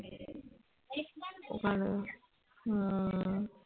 ওখানে হম